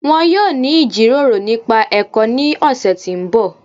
Wọn yọ̀ọ́ ni ijíròrò nípa ẹ̀kọ́ ni ọ̀ṣẹ̀ tí n bọ̀